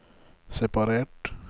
separert